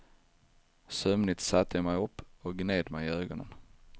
Sömnigt satte jag mig upp och gned mig i ögonen.